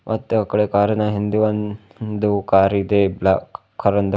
ಮತ್ತೆ ಆ ಕಡೆ ಕಾರಿನ ಹಿಂದೆ ಒಂದು ಕಾರಿದೆ ಬ್ಲಾಕ್ ಕಲರ್ ಇಂದು.